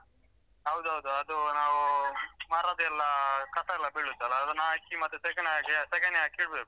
ಹೌದು ಹೌದು. ಅದು ನಾವೂ ಮರದೆಲ್ಲ ಕಸ ಎಲ್ಲ ಬೀಳುತ್ತೆ ಅಲ ಅದನ್ ಹಾಕಿ ಮತ್ತೆ ಸೆಗಣಿ ಹಾಗೆ ಸೆಗಣಿ ಹಾಕಿ ಇಡ್ಬೇಕು.